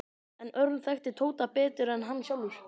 En Örn þekkti Tóta betur en hann sjálfur.